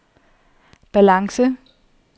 balance